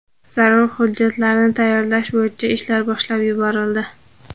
Zarur hujjatlarni tayyorlash bo‘yicha ishlar boshlab yuborildi.